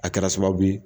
A kɛra sababu ye